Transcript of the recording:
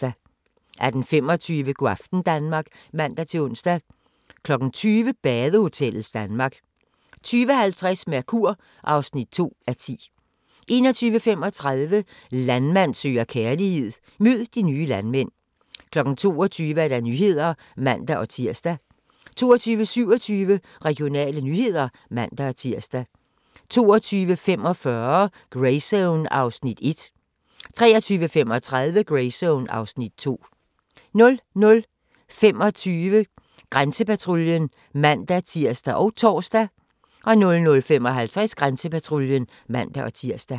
18:25: Go' aften Danmark (man-ons) 20:00: Badehotellets Danmark 20:50: Mercur (2:10) 21:35: Landmand søger kærlighed - mød de nye landmænd 22:00: Nyhederne (man-tir) 22:27: Regionale nyheder (man-tir) 22:45: Greyzone (Afs. 1) 23:35: Greyzone (Afs. 2) 00:25: Grænsepatruljen (man-tir og tor) 00:55: Grænsepatruljen (man-tir)